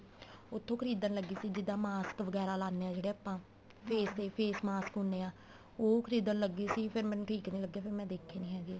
ਉੱਥੋ ਖਰੀਦਣ ਲੱਗੇ ਸੀ ਜਿੱਦਾਂ ਮਾਸਕ ਵਗੈਰਾ ਲਾਨੇ ਆ ਜਿਹੜੇ ਆਪਾਂ face ਤੇ face mask ਹੁੰਨੇ ਆ ਉਹ ਖਰੀਦਣ ਲਗੇ ਸੀ ਫੇਰ ਮੈਨੂੰ ਠੀਕ ਨੀਂ ਲੱਗੇ ਫੇਰ ਮੈਂ ਦੇਖੇ ਨੀਂ ਹੈਗੇ